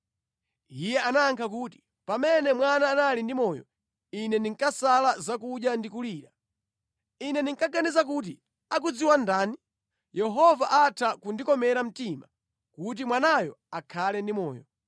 Iye anayankha kuti, “Pamene mwana anali ndi moyo ine ndinkasala zakudya ndi kulira. Ine ndinkaganiza kuti, ‘Akudziwa ndani? Yehova atha kundikomera mtima kuti mwanayo akhale ndi moyo.’